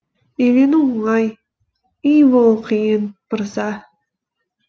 үйлену оңай үй болу қиын мырза